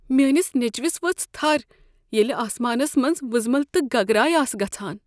میٲنس نیچوِس ؤژھ تھر ییلِہ آسمانس منٛز وٕزمل تہٕ گگراے آسہٕ گژھان۔